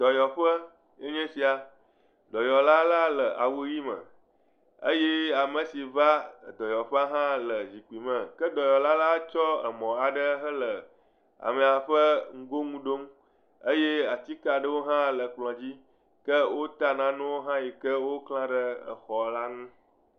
Dɔyɔƒe enye sia, dɔyɔla la le awu ʋe me eye ame si va dɔyɔƒe hã le zikpui me. Ke dɔyɔla la tsɔ emɔ aɖe hele amea ƒe ŋgonu ɖom eye atike aɖewo hã le ekplɔ dzi, ke wota nanewo hã yike wokle ɖe exɔ la ŋu.